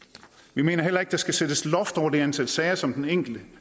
vi mener heller ikke at der skal sættes loft over det antal sager som den enkelte